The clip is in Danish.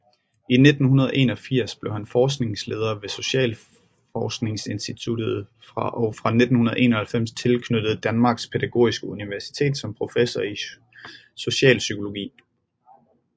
I 1981 blev han forskningsleder ved Socialforskningsinstituttet og fra 1991 tilknyttet Danmarks Pædagogiske Universitet som professor i socialpsykologi